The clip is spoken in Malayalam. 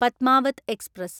പദ്മാവത് എക്സ്പ്രസ്